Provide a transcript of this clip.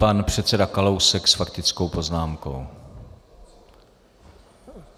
Pan předseda Kalousek s faktickou poznámkou.